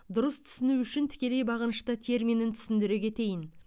дұрыс түсіну үшін тікелей бағынышты терминін түсіндіре кетейін